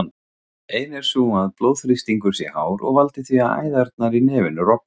Ein er sú að blóðþrýstingur sé hár og valdi því að æðarnar í nefinu rofna.